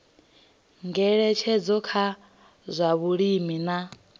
ngeletshedzo kha zwa vhulimi na